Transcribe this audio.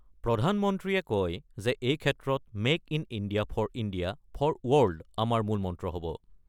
প্ৰধানমন্ত্ৰীয়ে কয় যে এই ক্ষেত্ৰত make in India, for India for world আমাৰ মূল মন্ত্ৰ হ'ব।